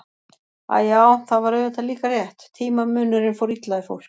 Æ, já, það var auðvitað líka rétt, tímamunurinn fór illa í fólk.